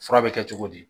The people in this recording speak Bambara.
Fura bɛ kɛ cogo di